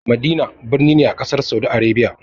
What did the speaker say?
Madina birni ne a ƙasar Saudi Arabia.